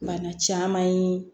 Bana caman ye